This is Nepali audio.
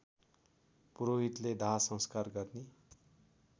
पुरोहितले दाहसंस्कार गर्ने